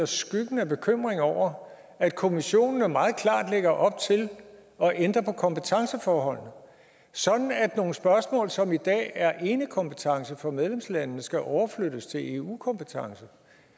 skyggen af bekymring over at kommissionen meget klart lægger op til at ændre på kompetenceforholdene sådan at nogle spørgsmål som i dag er enekompetence for medlemslandene skal overflyttes til eu kompetence